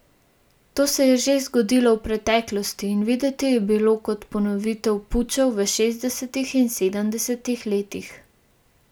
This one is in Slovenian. To se je že zgodilo v preteklosti in videti je bilo kot ponovitev pučev v šestdesetih in sedemdesetih letih.